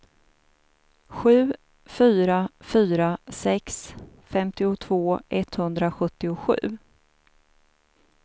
sju fyra fyra sex femtiotvå etthundrasjuttiosju